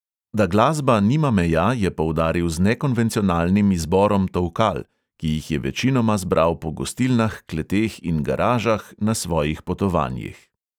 Da glasba nima meja, je poudaril z nekonvencionalnim izborom tolkal, ki jih je večinoma zbral po gostilnah, kleteh in garažah na svojih potovanjih.